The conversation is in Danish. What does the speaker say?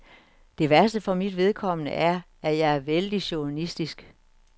Det værste for mit vedkommende er, at jeg er vældig chauvinistisk.